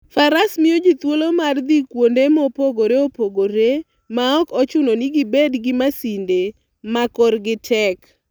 Faras miyo ji thuolo mar dhi kuonde mopogore opogore maok ochuno ni gibed gi masinde ma korgi tek.